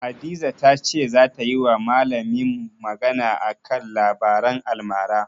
Hadiza ta ce zata yiwa malamin magana a kan labaran almara.